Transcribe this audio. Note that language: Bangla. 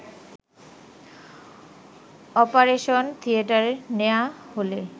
অপারেশন থিয়েটারে নেয়া হলে